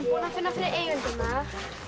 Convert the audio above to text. að finna fyrir eigendurna